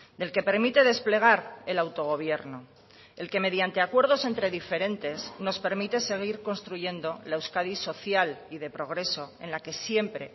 del que permite desplegar el autogobierno el que mediante acuerdos entre diferentes nos permite seguir construyendo la euskadi social y de progreso en la que siempre